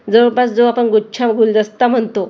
जवळपास जो आपण गुच्छा गुलदस्ता म्हणतो तिथं--